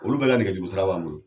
Olu bɛ ka nɛgɛ juru sira b'an bolo.